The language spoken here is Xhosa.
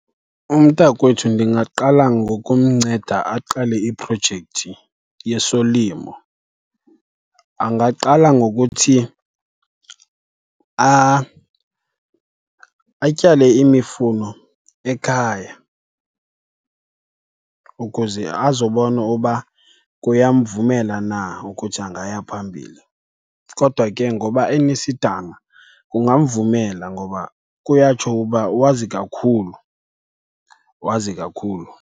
Umntakwethu ndingaqala ngokumnceda aqale iprojekthi yesolimo. Angaqala ngokuthi atyale imifuno ekhaya ukuze azobona uba kuyamvumela na ukuthi angaya phambili. Kodwa ke ngoba enesidanga kungamvumela ngoba kuyatsho uba wazi kakhulu, wazi kakhulu.